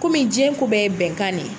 Kɔmi jiyɛn ko bɛɛ ye bɛnkan ne ye.